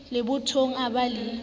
le bothong o ba le